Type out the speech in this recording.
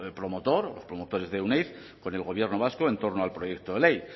promotor los promotores de euneiz con el gobierno vasco en torno al proyecto de ley